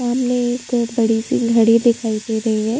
सामने एक बड़ी सी घड़ी दिखाई दे रही है।